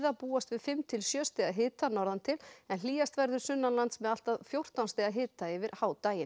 búast við fimm til sjö stiga hita norðan til en hlýjast verður sunnanlands með allt að fjórtán stiga hita yfir